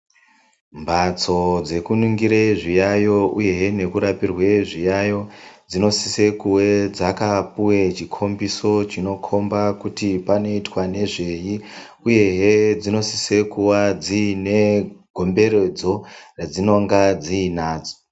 Mphatso dzekuningire zviyayiyo uyehe nekurapirwe zviyayiyo dzinosise kuwe dzakapuwe chikombiso chinokomba kuti panoitwa nezvei uyehe dzinosise kuva dziine gomberedzo radzinonge dzinadzo.